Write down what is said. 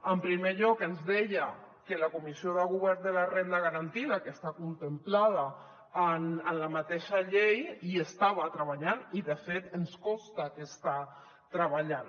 en primer lloc ens deia que la comissió de govern de la renda garantida que està contemplada en la mateixa llei hi estava treballant i de fet ens consta que hi està treballant